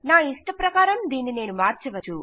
నాయిష్టప్రకారం దీన్ని నేను మార్చవచ్చు